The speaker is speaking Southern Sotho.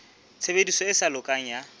tshebediso e sa lokang ya